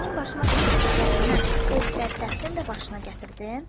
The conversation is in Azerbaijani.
Mənim başıma gətirdiklərindən o bədbəxtin də başına gətirdin?